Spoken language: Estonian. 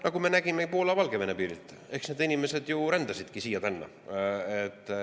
Nagu me nägime Poola‑Valgevene piiril, eks need inimesed ju rändasidki sinna-tänna.